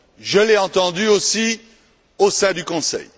Je l'ai entendue aussi au sein du Conseil.